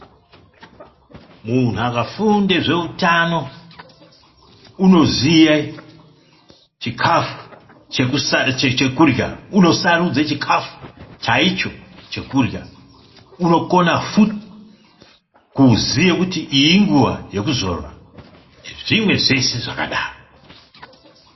Munhu akafunde zveutano, unoziye chikafu chekurya. Unosarudze chikafu chaicho chekurya. Unokona futi kuziya kuti iyi inguva yekuzorora, nezvimwe zveshe zvakadaro.